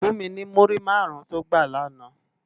Fún mi ni múrí márùn tó gbá làná